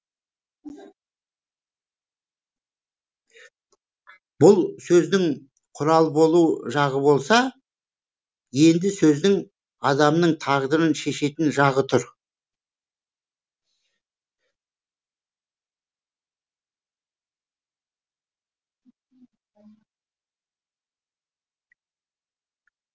бұл сөздің құрал болу жағы болса енді сөздің адамның тағдырын шешетін жағы тұр